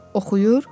Oxuyur.